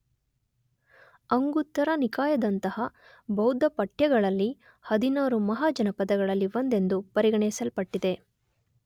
ಅಂಗುತ್ತರ ನಿಕಾಯದಂತಹ ಬೌದ್ಧ ಪಠ್ಯಗಳಲ್ಲಿ ಹದಿನಾರು ಮಹಾಜನಪದಗಳಲ್ಲಿ ಒಂದೆಂದು ಪರಿಗಣಿಸಲ್ಪಟ್ಟಿದೆ